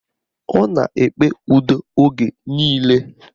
Ọ na-ekpe udo oge niile